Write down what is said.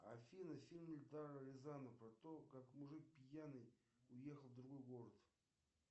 афина фильм эльдара рязанова про то как мужик пьяный уехал в другой город